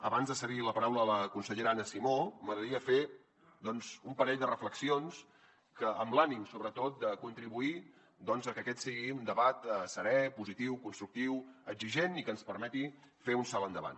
abans de cedir la paraula a la consellera anna simó m’agradaria fer doncs un parell de reflexions amb l’ànim sobretot de contribuir a que aquest sigui un debat serè positiu constructiu exigent i que ens permeti fer un salt endavant